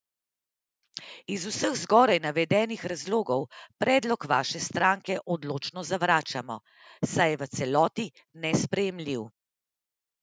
Iz vseh zgoraj navedenih razlogov, predlog Vaše stranke odločno zavračamo, saj je v celoti nesprejemljiv.